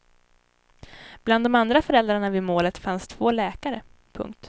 Bland de andra föräldrarna vid målet fanns två läkare. punkt